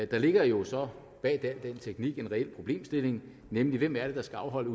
der ligger jo så bag al den teknik en reel problemstilling nemlig hvem det er der skal afholde